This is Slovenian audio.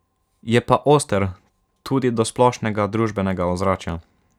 Je pa oster tudi do splošnega družbenega ozračja.